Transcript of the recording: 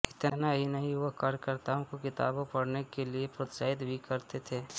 इतना ही नहीं वह कार्यकर्ताओं को किताबें पढ़ने के लिए प्रोत्साहित भी करते थे